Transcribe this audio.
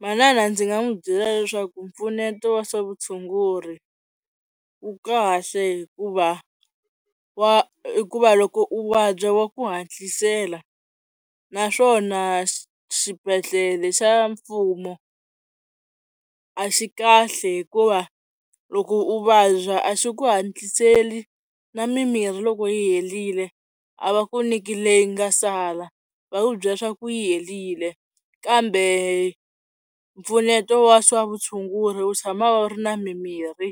Manana ndzi nga n'wi byela leswaku mpfuneto wa swa vutshunguri wu kahle hikuva wa hikuva loko u vabya wa ku hatlisela naswona xibedhlele xa mfumo a xi kahle hikuva loko u vabya a xi ku hatliseli na mimirhi loko yi herile a va ku nyiki leyi nga sala, va ku byela leswaku yi helile kambe mpfuneto wa swa vutshunguri wu tshama wu ri na mimirhi